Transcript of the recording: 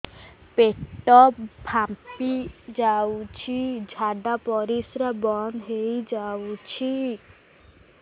ପେଟ ଫାମ୍ପି ଯାଉଛି ଝାଡା ପରିଶ୍ରା ବନ୍ଦ ହେଇ ଯାଉଛି